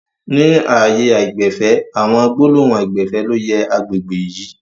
Ni ààyè aìgbẹ̀fẹ̀, àwọn gbólóhùn aìgbẹ̀fẹ̀ ló yẹ àgbègbè yìí